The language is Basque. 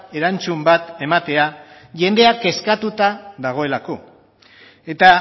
erantzun bat ematea jendea eskatuta dagoelako eta